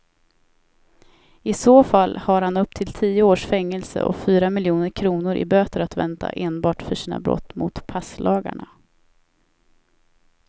I så fall har han upp till tio års fängelse och fyra miljoner kronor i böter att vänta enbart för sina brott mot passlagarna.